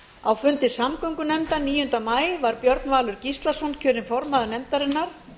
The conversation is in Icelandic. á fundi samgöngunefndar níunda maí var björn valur gíslason kjörinn formaður nefndarinnar